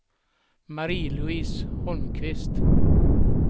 Marie-Louise Holmqvist